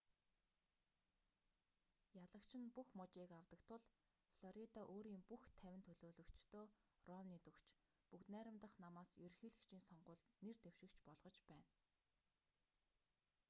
ялагч нь бүх мужийг авдаг тул флорида өөрийн бүх тавин төлөөлөгчдөө ромнид өгч бүгд найрамдах намаас ерөнхийлөгчийн сонгуульд нэр дэвшигч болгож байна